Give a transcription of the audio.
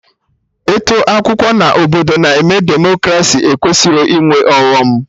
Ịtụ akwụkwọ na obodo na-eme Demokraci ekwesịrọ ịnwe ọghọm